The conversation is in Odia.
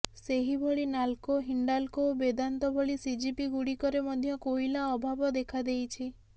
ସେହିଭଳି ନାଲ୍କୋ ହିଣ୍ଡାଲ୍କୋ ଓ ବେଦାନ୍ତ ଭଳି ସିଜିପିଗୁଡ଼ିକରେ ମଧ୍ୟ କୋଇଲା ଅଭାବ ଦେଖାଦେଇଛି